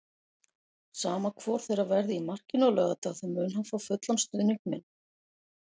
Sama hvor þeirra verði í markinu á laugardag þá mun hann fá fullan stuðning minn.